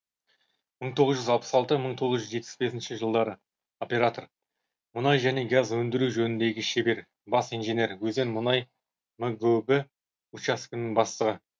мың тоғыз жүз алпыс алты мың тоғыз жүз жетпіс бес жылдары оператор мұнай және газ өндіру жөніндегі шебер бас инженер өзен мұнай мгөб учаскесінің бастығы